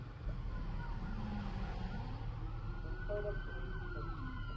eenvoudig m gems